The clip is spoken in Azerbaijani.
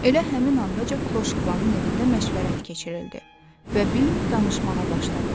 Elə həmin anca kloşkvanın evində məşvərət keçirildi və Bim danışmağa başladı.